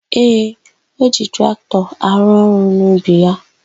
Ee, o ji traktọ arụ ọrụ n'ubi ya.